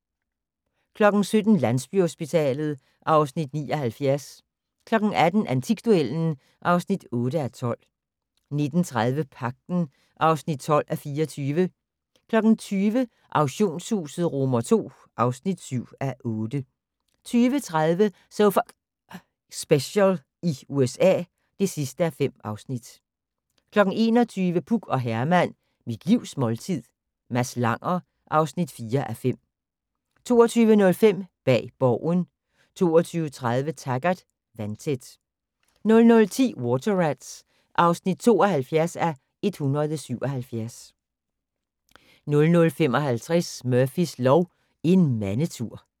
17:00: Landsbyhospitalet (Afs. 79) 18:00: Antikduellen (8:12) 19:30: Pagten (12:24) 20:00: Auktionshuset II (7:8) 20:30: So F***ing Special i USA (5:5) 21:00: Puk og Herman - Mit livs måltid - Mads Langer (4:5) 22:05: Bag Borgen 22:30: Taggart: Vandtæt 00:10: Water Rats (72:177) 00:55: Murphys lov: En mandetur